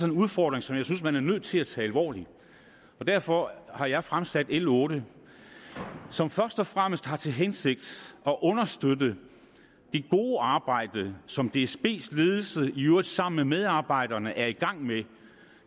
en udfordring som jeg synes man er nødt til at tage alvorligt og derfor har jeg fremsat l otte som først og fremmest har til hensigt at understøtte det gode arbejde som dsbs ledelse i øvrigt sammen med medarbejderne er i gang med